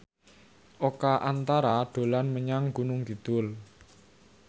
Oka Antara dolan menyang Gunung Kidul